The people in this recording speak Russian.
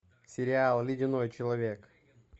сериал ледяной человек